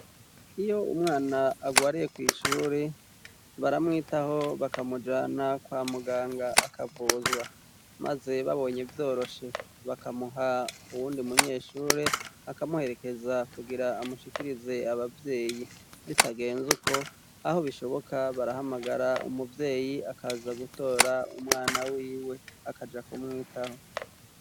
Iyo umwana agwareye kw'ishure baramwitaho bakamujana kwa muganga akavuzwa, maze babonye vyoroshe bakamuha uwundi munyeshure akamuherekeza kugira amushikirize abavyeyi bitagenze uko aho bishoboka barahamagara umuvyeyi akaza gutora umwana wiwe akaja kumwitaho.